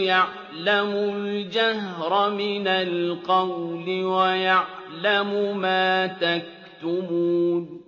يَعْلَمُ الْجَهْرَ مِنَ الْقَوْلِ وَيَعْلَمُ مَا تَكْتُمُونَ